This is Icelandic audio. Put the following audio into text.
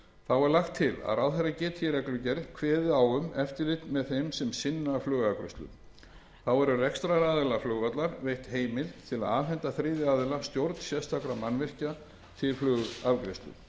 þá er lagt til að ráðherra geti í reglugerð kveðið á um eftirlit með þeim sem sinna flugafgreiðslu þá er rekstraraðila flugvallar veitt heimild til að afhenda þriðja aðila stjórn sérstakra mannvirkja til flugafgreiðslu